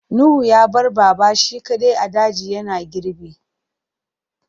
Nuhu ya bar Baba shi kaɗai a daji yana girbi.